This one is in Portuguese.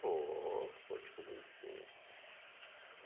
Vou, vou descobrir sim.